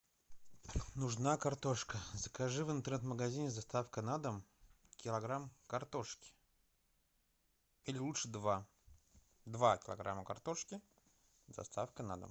нужна картошка закажи в интернет магазине с доставкой на дом килограмм картошки или лучше два два килограмма картошки с доставкой на дом